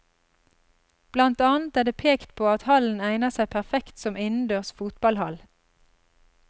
Blant annet er det pekt på at hallen egner seg perfekt som innendørs fotballhall.